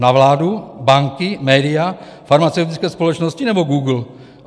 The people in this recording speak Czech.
Na vládu, banky, média, farmaceutické společnosti nebo Google?